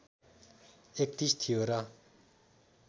३१ थियो र